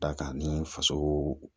Da kan ni faso